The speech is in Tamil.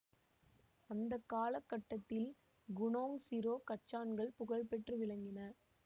அந்த கால கட்டத்தில் குனோங் சிரோ கச்சான்கள் புகழ் பெற்று விளங்கின